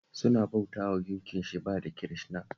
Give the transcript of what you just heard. Suna bautawa Gunkin Shiba da Kirishina